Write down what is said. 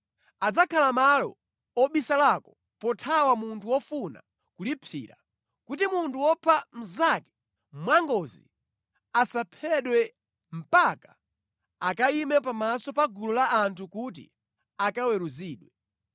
Adzakhala malo obisalako pothawa munthu wofuna kulipsira, kuti munthu wopha mnzake mwangozi asaphedwe mpaka akayime pamaso pa gulu la anthu kuti akaweruzidwe.